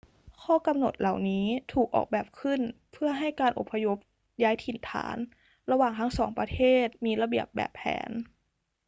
ข้อกำหนดเหล่านี้ถูกออกแบบขึ้นเพื่อให้การอพยพย้ายถิ่นฐานระหว่างทั้งสองประเทศมีระเบียบแบบแผน